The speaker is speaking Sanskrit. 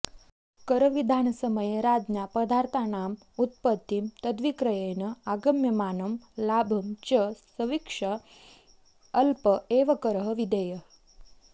करविधानसमये राज्ञा पदार्थानाम् उत्पत्तिं तद्विक्रयेण आगम्यमानं लाभं च संवीक्ष्य अल्प एव करः विधेयः